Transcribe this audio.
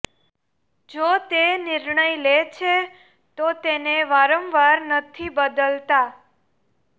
જો તે નિર્ણય લે છે તો તેને વારંવાર નથી બદલાતા